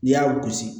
N'i y'a gosi